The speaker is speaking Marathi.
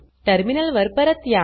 टर्मिनल वर परत या